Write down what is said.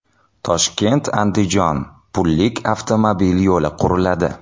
ToshkentAndijon pullik avtomobil yo‘li quriladi.